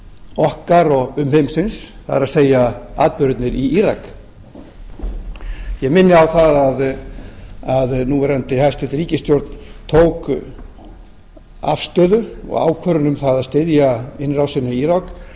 okkar og umheimsins það er atburðirnir í írak ég minni á það að núverandi hæstvirt ríkisstjórn tók afstöðu og ákvörðun um að styðja innrásina í írak